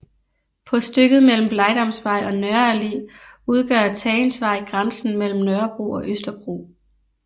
På stykket mellem Blegdamsvej og Nørre Allé udgør Tagensvej grænsen mellem Nørrebro og Østerbro